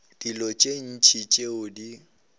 dilo tše ntši tšeo di